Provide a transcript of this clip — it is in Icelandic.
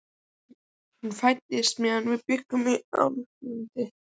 Hún fæddist meðan við bjuggum í Álfadal.